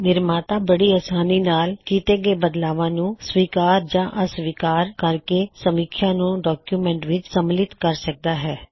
ਨਿਰਮਾਤਾ ਬੜੀ ਅਸਾਨੀ ਨਾਲ ਕੀੱਤੇ ਗਏ ਬਦਲਾਵਾਂ ਨੂੰ ਸਵੀਕਾਰ ਜਾਂ ਅਸਵੀਕਾਰ ਕਰਕੇ ਸਮੀਖਿਆ ਨੂੰ ਡੌਕਯੁਮੈੱਨਟ ਵਿੱਚ ਸੰਮਿਲਿਤ ਕਰ ਸਕਦਾ ਹੈ